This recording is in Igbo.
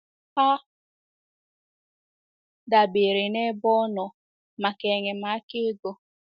Ha dabeere n’ebe ọ nọ maka enyemaka ego.